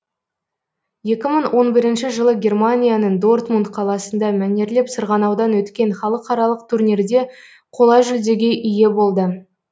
екі мың он бірінші жылы германияның дортмунд қаласында мәнерлеп сырғанаудан өткен халықаралық турнирде қола жүлдеге ие болды